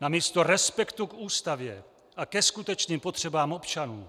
namísto respektu k Ústavě a ke skutečným potřebám občanů.